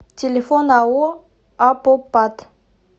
телефон ао апопат